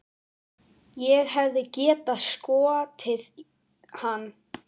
Ég hefði getað skotið hann.